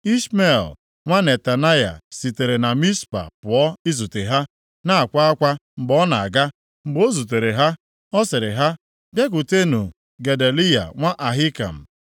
Ishmel nwa Netanaya sitere na Mizpa pụọ izute ha, na-akwa akwa mgbe ọ na-aga. Mgbe o zutere ha, ọ sịrị ha, “Bịakwutenụ Gedaliya nwa Ahikam.”